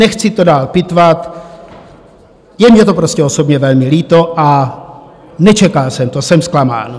Nechci to dál pitvat, je mně to prostě osobně velmi líto a nečekal jsem to, jsem zklamán.